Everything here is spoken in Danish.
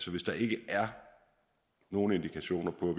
hvis der ikke er nogen indikationer på at